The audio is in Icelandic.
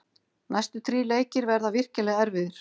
Næstu þrír leikir verða virkilega erfiðir.